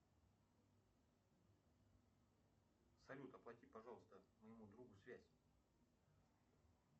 салют оплати пожалуйста моему другу связь